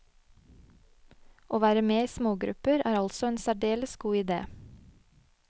Å være med i smågrupper er altså en særdeles god ide.